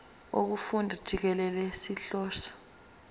wokufunda jikelele sihlose